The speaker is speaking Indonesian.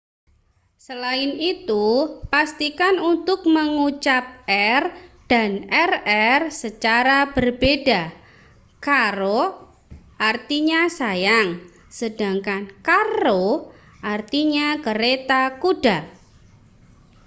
selain itu pastikan untuk mengucap r dan rr secara berbeda caro artinya sayang sedangkan carro artinya kereta kuda